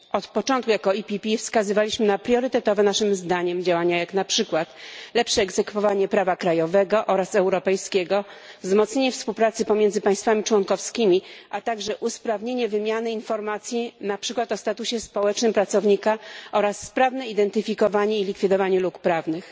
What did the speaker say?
Od początku jako PPE wskazywaliśmy na priorytetowe naszym zdaniem działania, jak na przykład lepsze egzekwowanie prawa krajowego oraz europejskiego, wzmocnienie współpracy pomiędzy państwami członkowskimi, a także usprawnienie wymiany informacji, na przykład o statusie społecznym pracownika, oraz sprawne identyfikowanie i likwidowanie luk prawnych.